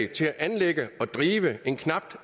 til at anlægge og drive en knap